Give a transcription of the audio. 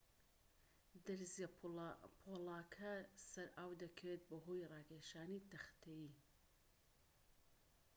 دەرزیە پۆڵاکە سەر ئاو دەکەوێت بەهۆی ڕاکێشانی تەختەیی